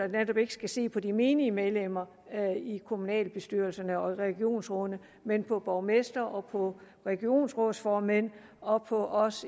netop ikke skal se på de menige medlemmer i kommunalbestyrelserne og i regionsrådene men på borgmestre og på regionsrådsformænd og på os